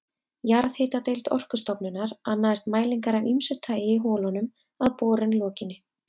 Jarðhitadeild Orkustofnunar annaðist mælingar af ýmsu tagi í holunum að borun lokinni.